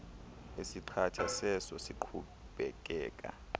esiqatha seso siqhubekeka